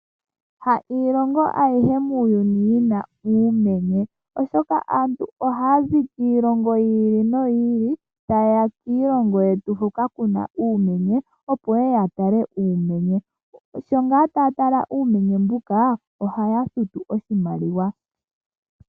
Ha iilongo ayihe muuyuni yi na uumenye, oshoka aantu oha ya zi kiilongo yi ili no yi ili ta ye ya kiilongo ye tu huka ku na uumenye, opo ye ye ya tale uumenye. Sho ngaa ta ya tala uumenye mbuka, oha ya futu oshimaliwa.